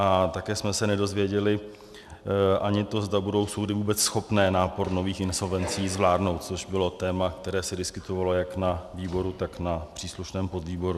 A také jsme se nedozvěděli ani to, zda budou soudy vůbec schopné nápor nových insolvencí zvládnout, což bylo téma, které se diskutovalo jak na výboru, tak na příslušném podvýboru.